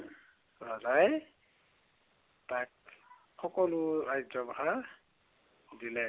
ৰজাই তাক সকলো ৰাজ্য়ভাৰ দিলে।